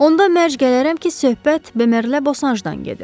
Onda mərc gələrəm ki, söhbət Bemərlə Bosanjdan gedir.